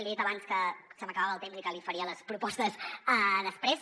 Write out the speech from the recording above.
li he dit abans que se m’acabava el temps i que li faria les propostes després